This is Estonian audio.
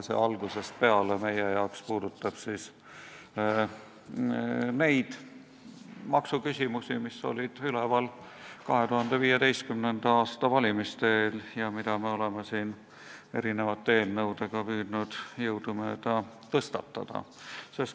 See "algusest peale" hõlmab neid maksuküsimusi, mis olid olemas 2015. aasta valimiste eel ja mida me oleme siin mitmete eelnõudega püüdnud jõudumööda tõstatada.